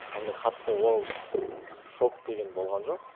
андай қатты уау шок деген болған жоқ